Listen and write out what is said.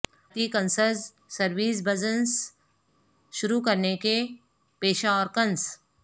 ذاتی concierge service business شروع کرنے کے پیشہ اور کنس